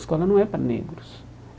Escola não é para negros.